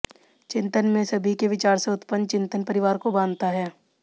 चिंतन में सभी के विचार से उत्पन्न चिंतन परिवार को बांधता है